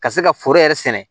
Ka se ka foro yɛrɛ sɛnɛ